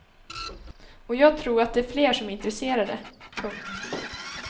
Och jag tror att det är fler som är intresserade. punkt